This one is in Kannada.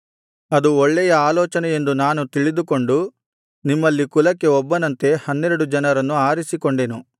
ಅದು ಒಳ್ಳೆಯ ಆಲೋಚನೆಯೆಂದು ನಾನು ತಿಳಿದುಕೊಂಡು ನಿಮ್ಮಲ್ಲಿ ಕುಲಕ್ಕೆ ಒಬ್ಬೊಬ್ಬನಂತೆ ಹನ್ನೆರಡು ಜನರನ್ನು ಆರಿಸಿಕೊಂಡೆನು